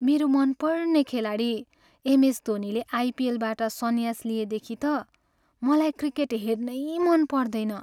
मेरा मनपर्ने खेलाडी एमएस धोनीले आइपिएलबाट सन्यास लिएदेखि त मलाई क्रिकेट हेर्नै मन पर्दैन।